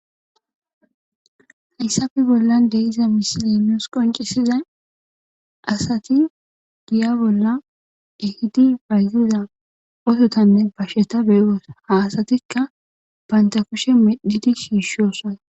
hayssappe bollan de'iza misilenus qoncisizay asati giya bolla ehidi bayziza osotanne basheta beyos haasatikka baynta kushe medhidi shiishosan